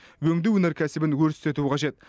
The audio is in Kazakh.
өңдеу өнеркәсібін өрістету қажет